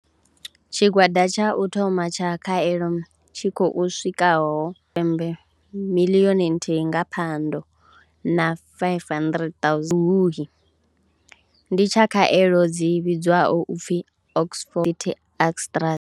Tshigwada tsha u thoma tsha khaelo tshi khou swikaho pembe miḽioni nthihi nga Phando na 500 000 Luhuhi ndi tsha khaelo dzi vhidzwaho u pfi Oxford Astraz.